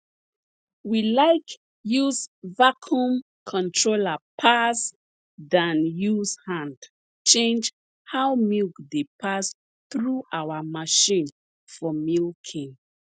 we like use vacuum controller pass dan use hand change how milk dey pass through our machine for milking